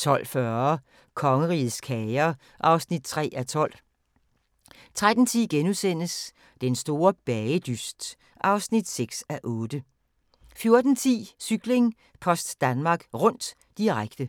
12:40: Kongerigets kager (3:12) 13:10: Den store bagedyst (6:8)* 14:10: Cykling: Post Danmark Rundt, direkte